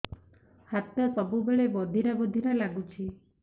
ହାତ ସବୁବେଳେ ବଧିରା ବଧିରା ଲାଗୁଚି